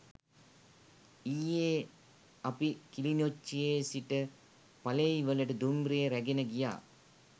ඊයේ අපි කිලිනොච්චියේ සිට පලෙයිවලට දුම්රිය රැගෙන ගියා